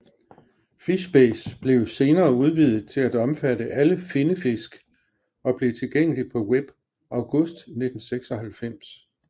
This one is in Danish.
FishBase blev senere udvidet til at omfatte alle finnefisk og blev tilgængelig på Web august 1996